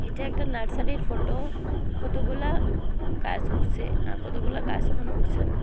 এটা একটা নার্সারির ফোটো কতগুলা গাছ উঠছে আর কতগুলা গাস ওখানে উঠছে না।